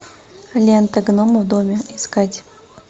лента гномы в доме искать